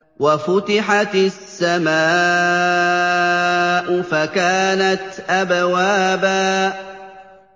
وَفُتِحَتِ السَّمَاءُ فَكَانَتْ أَبْوَابًا